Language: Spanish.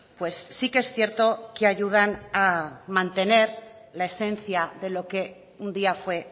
pues sí que es cierto que ayudan a mantener la esencia de lo que un día fue